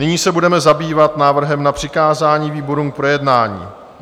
Nyní se budeme zabývat návrhem na přikázání výborům k projednání.